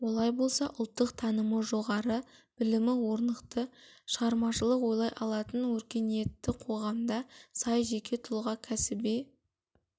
олай болса ұлттық танымы жоғары білімі орнықты шығармашылық ойлай алатын өркениетті қоғамға сай жеке тұлға кәсіби